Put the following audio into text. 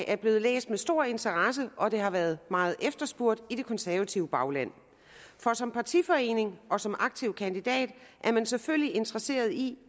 er blevet læst med stor interesse og det har været meget efterspurgt i det konservative bagland for som partiforening og som aktiv kandidat er man selvfølgelig interesseret i